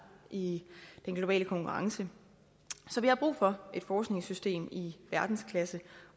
i den globale konkurrence så vi har brug for et forskningssystem i verdensklasse